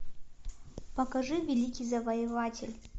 покажи великий завоеватель